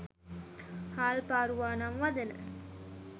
හාල් පාරුවා නම් වදන